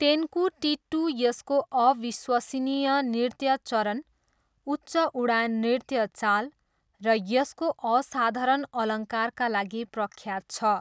तेन्कुटिट्टू यसको अविश्वसनीय नृत्य चरण, उच्च उडान नृत्य चाल र यसको असाधारण अलङ्कारका लागि प्रख्यात छ।